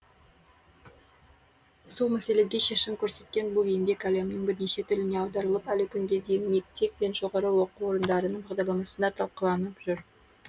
сол мәселеге шешім көрсеткен бұл еңбек әлемнің бірнеше тіліне аударылып әлі күнге дейін мектеп пен жоғары оқу орындарының бағдарламасында талқыланып жүр